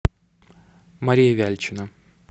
мария вяльчина